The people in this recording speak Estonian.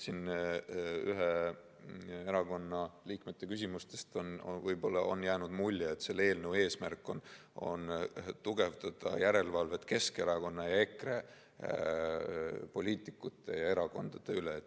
Siin ühe erakonna liikmete küsimustest on võib-olla jäänud mulje, et selle eelnõu eesmärk on tugevdada järelevalvet Keskerakonna ja EKRE poliitikute ja nende erakondade üle.